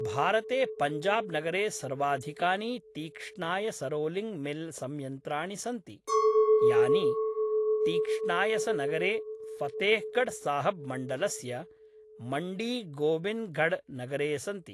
भारते पञ्जाब् नगरे सर्वाधिकानि तीक्ष्णायसरोलिङ्ग् मिल् संयन्त्राणि सन्ति, यानि तीक्ष्णायसनगरे फतेह्गढ्साहब् मण्डलस्य मण्डीगोबिन्द्गढ्नगरे सन्ति।